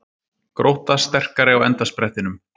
Grótta sterkari á endasprettinum